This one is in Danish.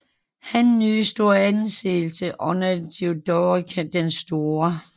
Han nød stor anseelse under Theoderik den Store